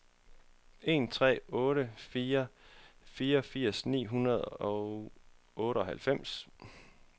en tre otte fire fireogfirs ni hundrede og otteoghalvfems